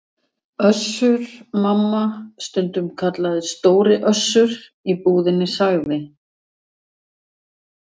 Össur- Mamma, stundum kallaður Stóri Össur í búðinni, sagði